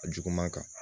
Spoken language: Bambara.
A juguman kan